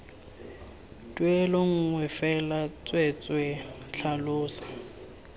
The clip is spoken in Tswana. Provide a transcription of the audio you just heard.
tuelo nngwe fela tsweetswee tlhalosa